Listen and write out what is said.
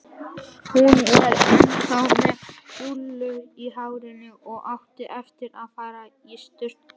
Hún var ennþá með rúllur í hárinu og átti eftir að fara í sturtu.